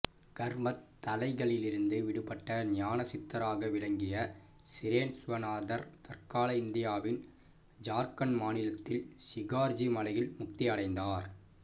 கர்மத் தளைகளிலிருந்து விடுபட்டு ஞான சித்தராக விளங்கிய சிரேன்சுவநாதர் தற்கால இந்தியாவின் ஜார்க்கண்டு மாநிலத்தின் சிகார்ஜி மலையில் முக்தி அடைந்தார்